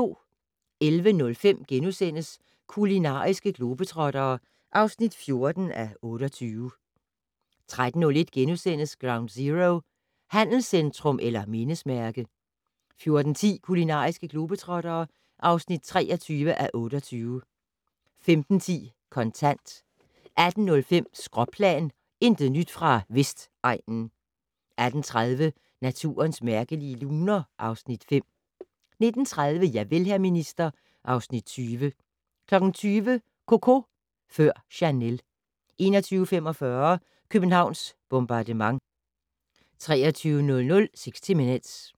11:05: Kulinariske globetrottere (14:28)* 13:01: Ground Zero - handelscentrum eller mindesmærke? * 14:10: Kulinariske globetrottere (23:28) 15:10: Kontant 18:05: Skråplan - intet nyt fra Vestegnen 18:30: Naturens mærkelige luner (Afs. 5) 19:30: Javel, hr. minister (Afs. 20) 20:00: Coco før Chanel 21:45: Københavns bombardement 23:00: 60 Minutes